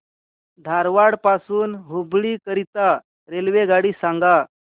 धारवाड पासून हुबळी करीता रेल्वेगाडी सांगा